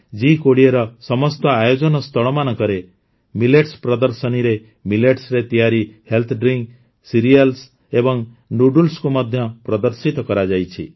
ଜି୨୦ର ସମସ୍ତ ଆୟୋଜନ ସ୍ଥଳମାନଙ୍କରେ ମିଲେଟ୍ସ ପ୍ରଦର୍ଶନୀରେ ମିଲେଟ୍ସରେ ତିଆରି ହେଲ୍ଥ ଡ୍ରିଙ୍କ୍ ସିରିଆଲ୍ସ ଏବଂ ନୁଡୁଲ୍ସକୁ ମଧ୍ୟ ପ୍ରଦର୍ଶିତ କରାଯାଇଛି